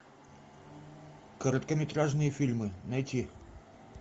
короткометражные фильмы найти